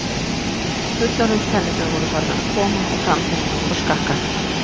Fullorðins- tennurnar voru farnar að koma og framtennurnar voru skakkar.